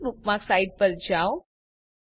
છેલ્લી bookmark site પર જાઓ